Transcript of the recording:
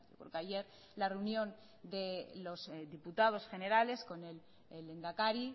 porque ayer la reunión de los diputados generales con el lehendakari